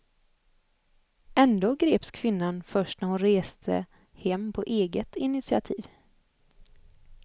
Ändå greps kvinnan först när hon reste hem på eget initiativ.